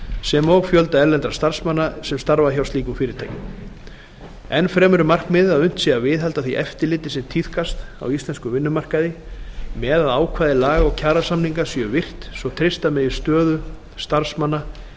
sem og fjölda erlendra starfsmanna sem starfa hjá slíkum fyrirtækjum enn fremur er markmiðið að unnt sé að viðhalda því eftirliti sem tíðkast á íslenskum vinnumarkaði með að ákvæði laga og kjarasamninga séu virt svo treysta megi stöðu starfsmanna